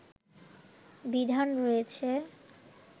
বিধান রয়েছে